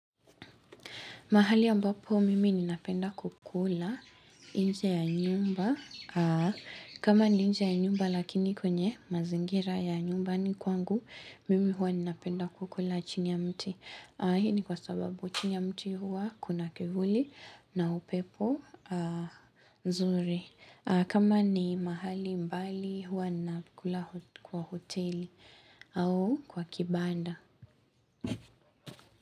Mahali ambapo mimi ninapenda kukula inje ya nyumba. Kama ni inje ya nyumba lakini kwenye mazingira ya nyumbani kwangu, mimi hua ninapenda kukula chini ya mti. Hii kwa sababu chini ya mti hua kuna kivuli na upepo nzuri. Kama ni mahali mbali hua ninakula kwa hoteli au kwa kibanda.